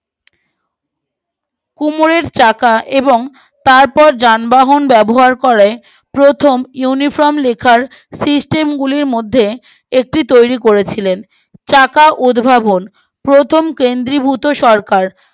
কুমোরের চাকা এবং তারপরে যানবাহন ব্যবহার করে প্রথম উনি ফ্রম লেখার সিস্টেম গুলির মধ্যে একটি তৈরী করেছিলেন চাকা উদ্ভাবন প্রথম কেন্দ্রীভূত সরকার